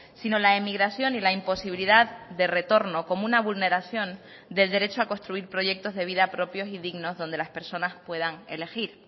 sino la emigración y la imposibilidad de retorno como una vulneración del derecho a construir proyectos de vida propios y dignos donde las personas puedan elegir